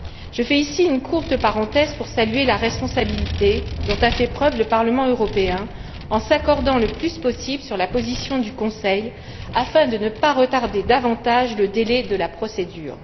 Je fais ici une courte parenthèse pour saluer la responsabilité dont a fait preuve le Parlement européen en s'accordant le plus possible sur la position du Conseil, afin de ne pas retarder davantage le délai de la procédure.